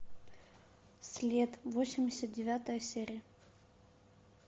след восемьдесят девятая серия